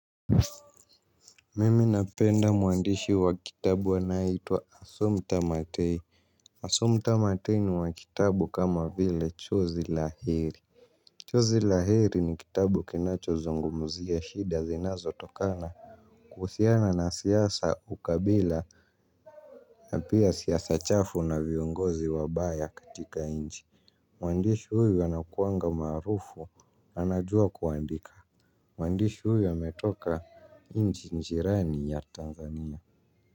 Mimi napenda muandishi wa kitabu anaeitwa Sumta Matei. Asumta Matei ni wa kitabu kama vile Chozi Lahiri Chozi Lahiri ni kitabu kinacho zungumzia shida zinazotokana kuhusiana na siasa, ukabila. Na pia siasa chafu na viongozi wabaya katika nchi. Mwandishi huyu anakuanga maarufu anajua kuandika. Mwandishi huyu ametoka nchi jirani ya Tanzania.